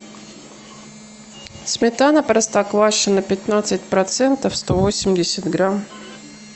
сметана простоквашино пятнадцать процентов сто восемьдесят грамм